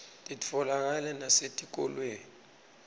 titfolakala nasetikolweni